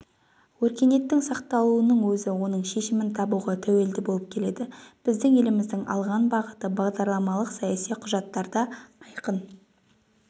өркениеттің сақталуының өзі оның шешімін табуға тәуелді болып келеді біздің еліміздің алған бағыты бағдарламалық-саяси құжаттарда айқын